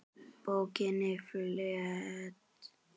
Bókinni flett.